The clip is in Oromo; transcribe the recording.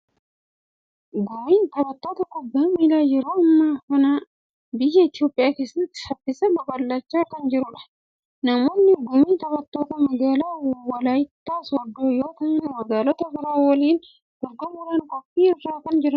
Gumiin taphattoota kubbaa miilaa yeroo ammaa kana biyya Itoophiyaa keessatti saffisaan babal'achaa kan jirudha. Namoonni gumii taphattoota magaalaa walaayittaa sooddoo yoo ta'an, magaalota biroo waliin dorgomuudhaaf qophii irra kan jiranidha.